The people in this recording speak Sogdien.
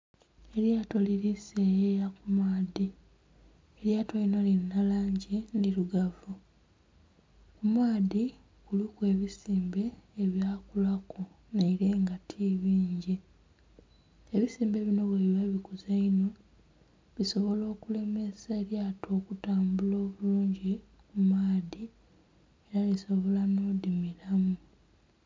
Elyato liri seyeya ku maadhi, elyato lino lirina langi ndhirugavu, ku maadhi kuliku ebisimbe ebyakulaku naire nga ti bingi. Ebisimbe bino buli lwebikuze einho bisobola okulemesa elyato okutambula obulungi mu maadhi era lisobola n'odhimiramu